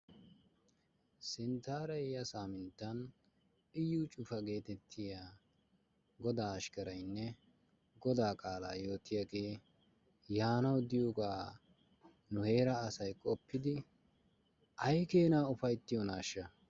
Sinttaara yiya saaminttan Iyyu Cufa geetettiya godaa ashkkaraynne godaa qaalaa yootiyagee yaanawu diyogaa nu heeraa asay qoppidi ay keenaa ufayttiyonaaahsha?